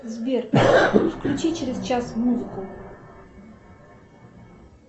сбер включи через час музыку